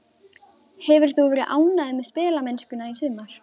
Hefur þú verið ánægður með spilamennskuna í sumar?